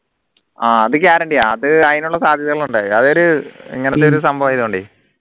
ആഹ് അത് guarantee ആ അത് അതിനുള്ള സാധ്യതകളുണ്ട് അതൊരു സംഭവമായൊണ്ടേ